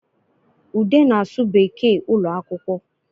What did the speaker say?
Ude na-asụ Bekee ụlọ akwụkwọ